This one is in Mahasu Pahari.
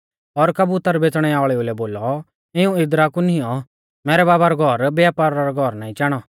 और कबुतर बेच़णै वाल़ेऊ लै बोलौ इऊं इदरा कु निऔं मैरै बाबा रौ घौर व्यपारा रौ घौर नाईं चाणौ